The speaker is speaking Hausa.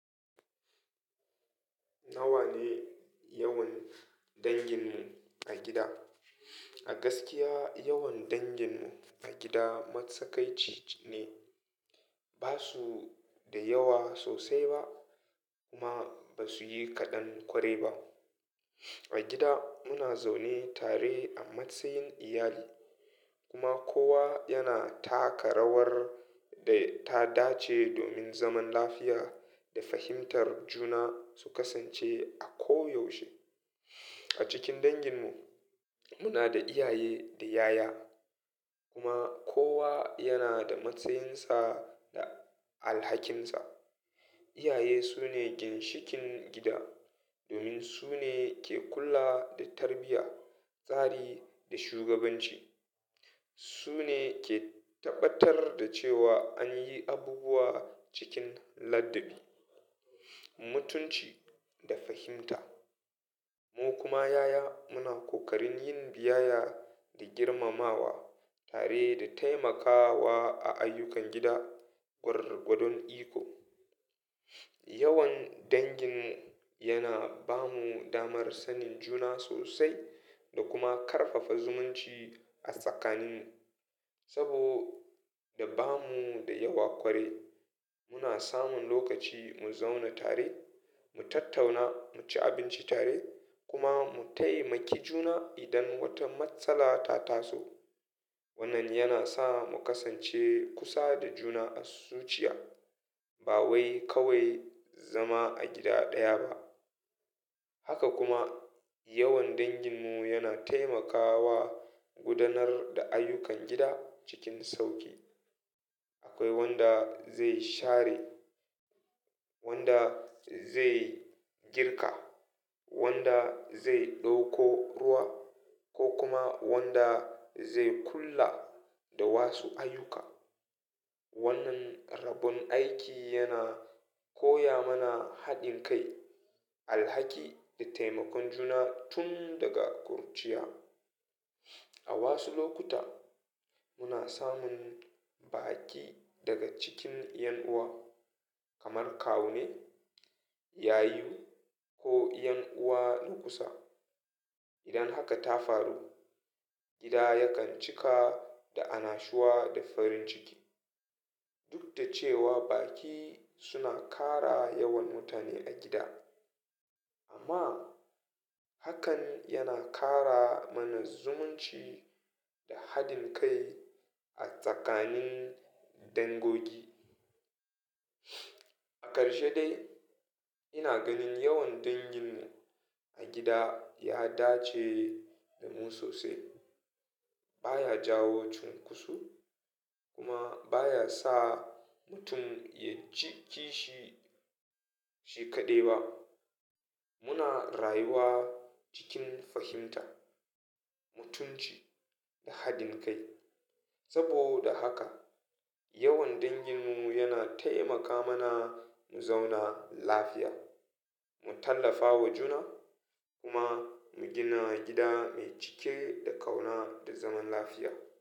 Nawa ne yawan dangin mu a gida? A gaskiya, yawan dangin mu a gida matsakaici ne. Ba su da yawa sosai ba kuma ba su yi kaɗan kwarai ba. A gida muna zaune tare a matsayin iyali kuma kowa yana taka rawar da ta dace domin zaman lafiya da fahimtar juna su kasance a ko yaushe. A cikin dangin mu muna da iyaye da yaya kuma kowa yana da matsayinsa da alhakinsa. Iyaye su ne ginshikin gida domin su ne ke kula da tarbiyya, tsari da shugabanci. Su ne ke tabbatar da cewa an yi abubuwa cikin ladabi, mutunci da fahimta. Mu kuma yaya muna kokarin yin biyayya da girmamawa tare da taimakawa a ayyukan gida gwargwadon iko. Yawan dangin mu yana ba mu damar sanin juna sosai da kuma ƙarfafa zumunci a tsakanin mu. Saboda ba mu da yawa kwarai muna samun lokaci mu zauna tare, mu tattauna, mu ci abinci tare kuma mu taimaki juna idan wata matsala ta taso. Wannan yana sa mu kasance kusa da juna a zuciya ba wai kawai zama a gida ɗaya ba. Haka kuma yawan dangin mu yana taimakawa gudanar da ayyukan gida cikin sauƙi. Akwai wanda zai share, wanda zai girka, wanda zai ɗauko ruwa ko kuma wanda zai kula da wasu ayyuka. Wannan rabon aiki yana koya mana haɗin kai, alhaki da taimakon juna tun daga kurciya. A wasu lokuta muna samun baƙi daga cikin ƴan uwa kamar kawune, yayi ko ƴan uwa na kusa. Idan haka ta faru gida yakan cika da annashuwa da farin ciki. Duk da cewa baƙi suna ƙara yawan mutane a gida amma hakan yana ƙara mana zumunci da haɗin kai a tsakanin dangogi. A karshe dai ina ganin yawan dangin mu a gida ya dace da mu sosai. Ba ya jawo cunkoso kuma ba ya sa mutum ya ji kishi shi kaɗai ba. Muna rayuwa cikin fahimta, mutunci da haɗin kai. Saboda haka yawan dangin mu yana taimaka mana mu zauna lafiya, mu tallafa wa juna kuma mu gina gida mai cike da ƙauna da zaman lafiya.